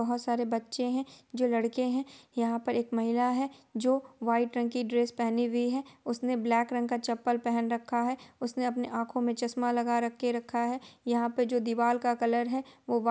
बहुत सारे बच्चे हैं लड़के हैं| यहां पर एक महिला है जो वाइट रंग की ड्रेस पहनी उसने ब्लाक रंग का चप्पल पेहन रखा है| उसने अपने आँखों में चश्मा लगा रखा है| यहाँ पे दीवार का कलर है वो वाइ--